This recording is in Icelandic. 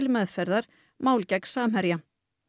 meðferðar mál gegn Samherja